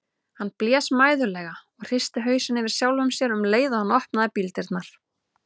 Hann blés mæðulega og hristi hausinn yfir sjálfum sér um leið og hann opnaði bíldyrnar.